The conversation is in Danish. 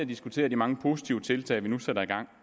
diskuterer de mange positive tiltag vi nu sætter i gang